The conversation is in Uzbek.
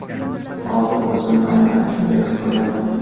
Hozir o‘zimni aynan shunday his qilyapman.